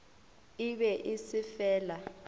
e be e se fela